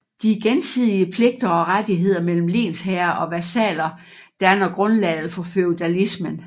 De gensidige pligter og rettigheder mellem lensherre og vasaller danner grundlaget for feudalismen